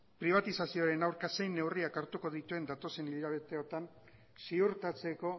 pribatizazioaren aurka zein neurriak hartuko dituen datozen hilabeteotan ziurtatzeko